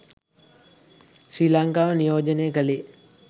ශ්‍රී ලංකාව නියෝජනය කළේ